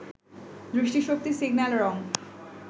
দৃষ্টি শক্তি, সিগন্যাল, রং